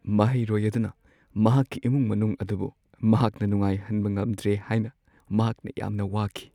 ꯃꯍꯩꯔꯣꯏ ꯑꯗꯨꯅ ꯃꯍꯥꯛꯀꯤ ꯏꯃꯨꯡ ꯃꯅꯨꯡ ꯑꯗꯨꯕꯨ ꯃꯍꯥꯛꯅ ꯅꯨꯡꯉꯥꯏꯍꯟꯕ ꯉꯝꯗ꯭ꯔꯦ ꯍꯥꯏꯅ ꯃꯍꯥꯛꯅ ꯌꯥꯝꯅ ꯋꯥꯈꯤ ꯫